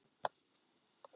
Þau voru búsett í Perú.